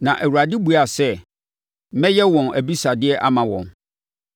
Na Awurade buaa sɛ, “Mɛyɛ wɔn abisadeɛ ama wɔn.